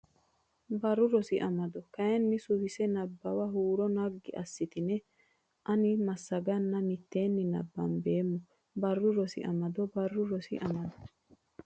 Barru Rosi Amado kayinni Suwise Nabbawa huuro ne naggi assitine ani massaganna mitteenni nabbambo Barru Rosi Amado Barru Rosi Amado.